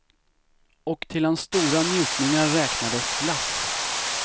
Och till hans stora njutningar räknades glass.